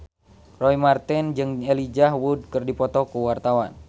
Roy Marten jeung Elijah Wood keur dipoto ku wartawan